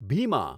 Bhima